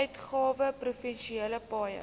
uitgawe provinsiale paaie